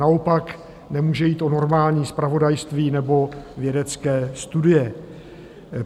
Naopak nemůže jít o normální zpravodajství nebo vědecké studie.